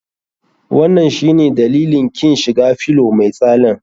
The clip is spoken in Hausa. Wanan shine dalilin kin shiga fillow mai tsalen?